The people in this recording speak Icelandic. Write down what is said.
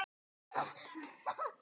Dennis þykir mjög góður?